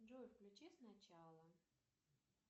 джой включи сначала